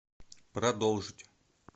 продолжить